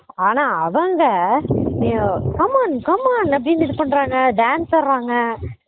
ஆனா அவங்க எஹ் come on come on அப்படினு இது பண்றாங்க dance ஆடுறாங்க